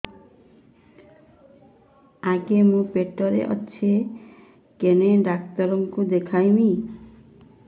ଆଗୋ ମୁଁ ପେଟରେ ଅଛେ କେନ୍ ଡାକ୍ତର କୁ ଦେଖାମି